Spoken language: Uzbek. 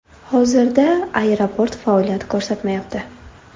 Hozirda aeroport faoliyat ko‘rsatmayapti.